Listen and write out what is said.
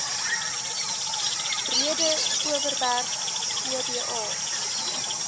breede overberg oba